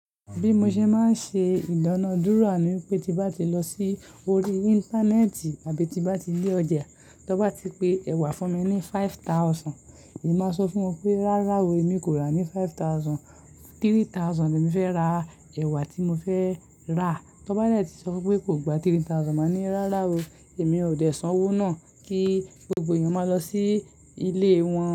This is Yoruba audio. Bí mo ṣe máa ń ṣe ìdánádúra, ní wipé tí n bá ti lọ sí orí Íńtánẹ́ẹ̀tì àbí tí n bá ti dé ọjà, tọ́ n bá ti pe ẹ̀wà fún mi ní five thousand, èmi máa sọ fún wọn pé, rárá o, èmi kò rà á ní five thousand. Three thousand ni èmi fẹ́ ra ẹ̀wà tí mo fẹ́ rà. Tọ́ bá dẹ́ tí sọ wipé kò gba three thousand, màá ní rárá o, èmi ò dé san owó náà kí gbogbo èèyàn máa lọ sí ilé wọn.